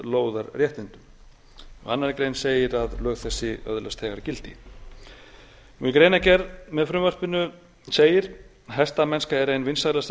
lóðarréttindum í annarri grein segir að lög þessi öðlast þegar gildi í greinargerð með frumvarpinu segir hestamennska er ein vinsælasta